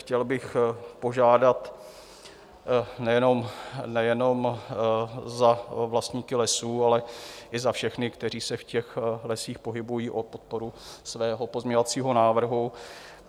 Chtěl bych požádat nejenom za vlastníky lesů, ale i za všechny, kteří se v těch lesích pohybují, o podporu svého pozměňovacího návrhu.